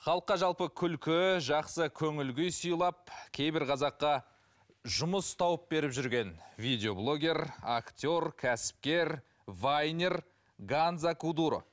халыққа жалпы күлкі жақсы көңіл күй сыйлап кейбір қазаққа жұмыс тауып беріп жүрген видоеблогер актер кәсіпкер вайнер ганза кудуро